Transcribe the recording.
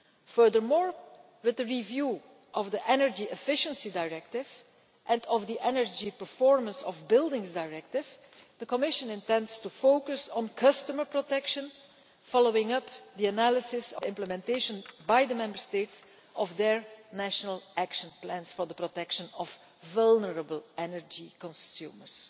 Furthermore, with the review of the Energy Efficiency Directive and the Energy Performance of Buildings Directive, the Commission intends to focus on customer protection, following up the analysis of the Member States' implementation of their national action plans for the protection of vulnerable energy consumers.